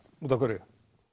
út af hverju